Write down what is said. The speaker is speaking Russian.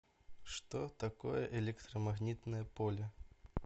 что такое электромагнитное поле